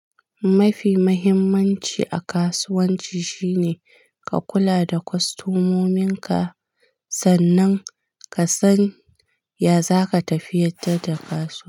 Mafi muhimmanci a kasuwanci shine ka kula da kostomominka sannan ka san ya za ka tafiyatar da kasuwa.